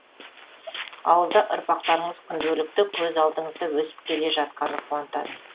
ауылда ұрпақтарыңыз күнделікті көз алдыңызда өсіп келе жатқаны қуантады